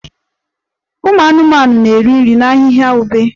Ụmụ anụmanụ na-eri nri na ahịhịa ube